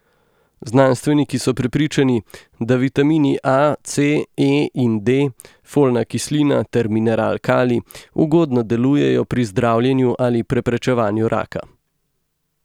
Znanstveniki so prepričani, da vitamini A, C, E in D, folna kislina ter mineral kalij ugodno delujejo pri zdravljenju ali preprečevanju raka.